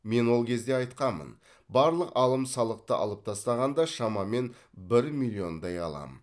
мен ол кезде айтқанмын барлық алым салықты алып тастағанда шамамен бір миллиондай аламын